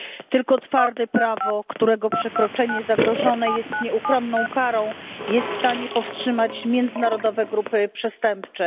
Tylko twarde prawo, którego przekroczenie zagrożone jest nieuchronną karą, jest w stanie powstrzymać międzynarodowe grupy przestępcze.